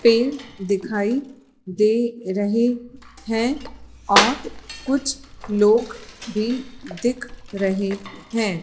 पेड़ दिखाई दे रहे हैं और कुछ लोग भी दिख रहे है।